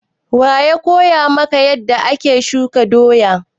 Wa ya koya maka yanda ake shuka doya?